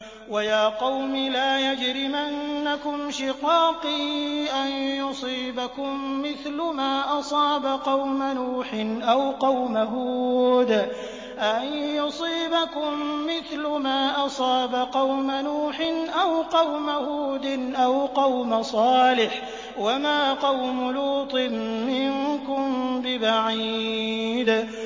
وَيَا قَوْمِ لَا يَجْرِمَنَّكُمْ شِقَاقِي أَن يُصِيبَكُم مِّثْلُ مَا أَصَابَ قَوْمَ نُوحٍ أَوْ قَوْمَ هُودٍ أَوْ قَوْمَ صَالِحٍ ۚ وَمَا قَوْمُ لُوطٍ مِّنكُم بِبَعِيدٍ